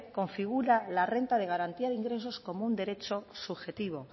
configura la renta de garantía de ingresos como un derecho subjetivo